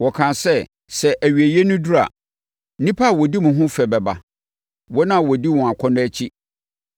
Wɔkaa sɛ, “Sɛ awieeɛ no duru a, nnipa a wɔdi mo ho fɛ bɛba, wɔn a wɔdi wɔn akɔnnɔ akyi.”